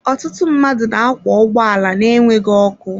Ọtụtụ mmadụ na-akwọ ụgbọala na-enweghị ọkụ.